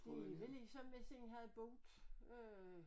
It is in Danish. Det vel ligesom hvis en havde boet øh